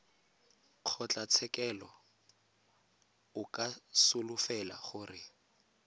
kgotlatshekelo o ka solofela gore